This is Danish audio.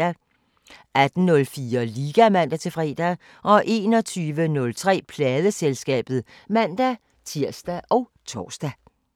18:04: Liga (man-fre) 21:03: Pladeselskabet (man-tir og tor)